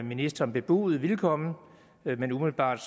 ministeren bebudede vil komme men umiddelbart